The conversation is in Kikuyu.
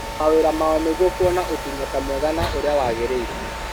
Na mawĩra mao nĩguo kũona ũtungata mwega na ũrĩa wagĩrĩire